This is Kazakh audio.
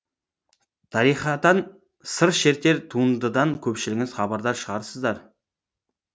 тарихатан сыр шертер туындыдан көпшілігіңіз хабардар шығарсыздар